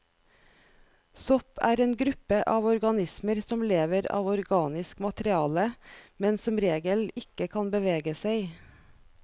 Sopp er en gruppe av organismer som lever av organisk materiale, men som regel ikke kan bevege seg.